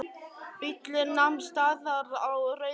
Bíllinn nam staðar á rauðu ljósi.